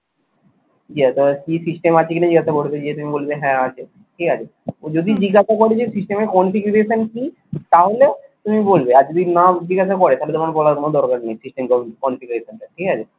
হয় কি system আছে কি না জিজ্ঞাসা করবে দিয়ে তুমি বলবে হ্যাঁ আছে ঠিক আছে? যদি জিজ্ঞাসা করে যে system এর configuration কি তাহলে তুমি বলবে আর যদি না জিজ্ঞাসা করে তাহলে তোমর বলার কোনো দরকার নেই system configuration টা ঠিক আছে?